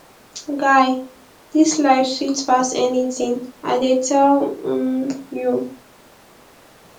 guy dis life sweet pass anything l dey tell um you